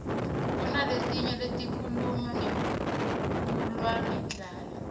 kunaletinye letikhuluma ngekulwa ngendlala